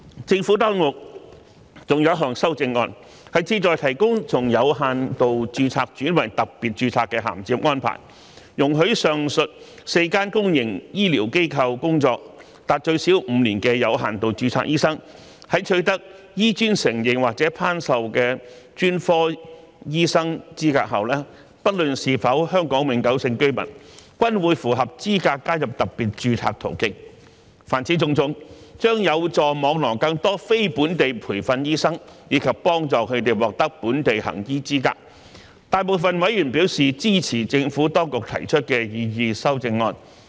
政府當局還有一項修正案，旨在提供從有限度註冊轉為特別註冊的銜接安排，容許在上述4間公營醫療機構工作達最少5年的有限度註冊醫生，在取得醫專承認或頒授的專科醫生資格後，不論是否香港永久性居民，均會符合資格加入特別註冊途徑。凡此種種，將有助網羅更多非本地培訓醫生，以及幫助他們獲得本地行醫資格，大部分委員表示支持政府當局提出的擬議修正案。